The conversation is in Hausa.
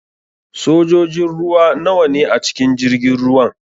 Sojojin ruwa nawa ne a cikin jirgin ruwan?